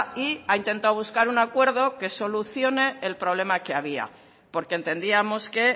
y ha intentado buscar un acuerdo que solucione el problema que había porque entendíamos que